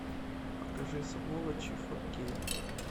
покажи сволочи фо кей